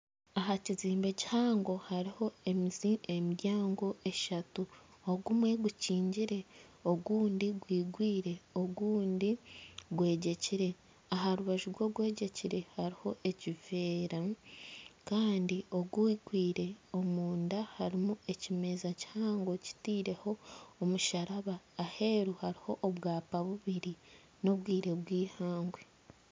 Ahakizimbe kihango hariho emiryango eshatu. Ogumwe gukingire ogundi gwigwire ogundi gwegyekire. Aha rubaju rw'ogwegyekire hariho ekiveera kandi Ogwigwire omunda harimu ekimeza kihango kitiireho omusharaba . Aheru hariho obwapa bubiri n'obwire bwihangwe.